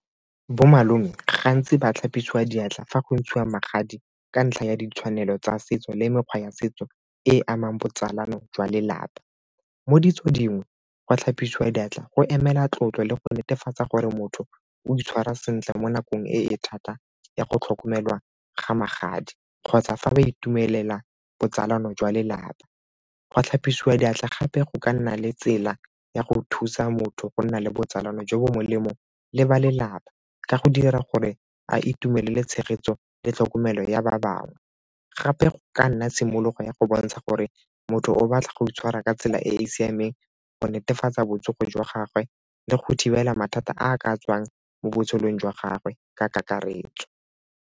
Bomalome gantsi ba tlhapisiwa diatla fa go ntshiwa magadi ka ntlha ya ditshwanelo tsa setso le mekgwa ya setso e e amang botsalano jwa lelapa. Mo ditsong dingwe go tlhapisiwa diatla go emela tlotlo le go netefatsa gore motho o itshwara sentle mo nakong e e thata ya go tlhokomelwa ga magadi kgotsa fa ba itumelela botsalano jwa lelapa. Go tlhapisiwa diatla gape go ka nna le tsela ya go thusa motho go nna le botsalano jo bo molemo le ba lelapa ka go dira gore a itumelele tshegetso le tlhokomelo ya ba bangwe. Gape go ka nna tshimologo ya go bontsha gore motho o batla go itshwara ka tsela e e siameng go netefatsa botsogo jwa gagwe le go thibela mathata a a ka tswang mo botshelong jwa gagwe ka kakaretso.